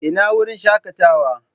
Ina wurin shakatawa?